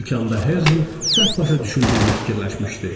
İlk anda Herzl səhv başa düşüldüyünü fikirləşmişdi.